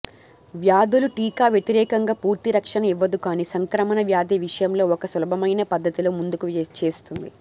వ్యాధులు టీకా వ్యతిరేకంగా పూర్తి రక్షణ ఇవ్వదు కానీ సంక్రమణ వ్యాధి విషయంలో ఒక సులభమైన పద్ధతిలో ముందుకు చేస్తుంది